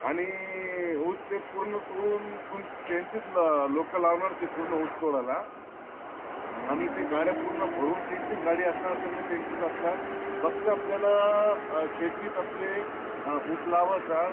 आणि ऊस ते पूर्ण तोडून त्यांचीच लोक लावणार ते पूर्ण ऊस तोड्यला आणि ते गाड्या पूर्ण भरून ते त्यांची च गाडी असणार सगळ त्यांचा च असणार फक्त आपल्याला अं शेतीत आपले ऊस लावयचा